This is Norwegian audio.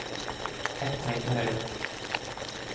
Ett tegn til høyre